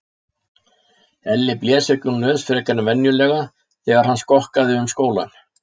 Elli blés ekki úr nös frekar en venjulega þegar hann skokkaði um skólann.